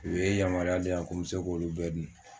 U ye yamaruya di yan ko mi se k'olu bɛɛ dun.